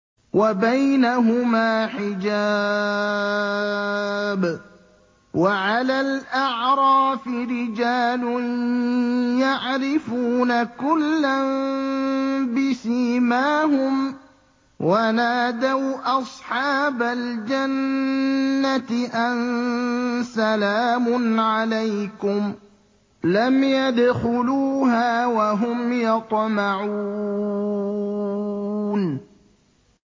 وَبَيْنَهُمَا حِجَابٌ ۚ وَعَلَى الْأَعْرَافِ رِجَالٌ يَعْرِفُونَ كُلًّا بِسِيمَاهُمْ ۚ وَنَادَوْا أَصْحَابَ الْجَنَّةِ أَن سَلَامٌ عَلَيْكُمْ ۚ لَمْ يَدْخُلُوهَا وَهُمْ يَطْمَعُونَ